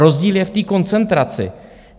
Rozdíl je v té koncentraci.